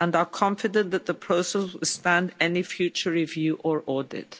and are confident that the process will stand any future review or audit.